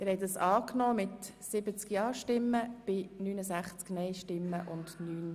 Sie haben diesen Antrag angenommen.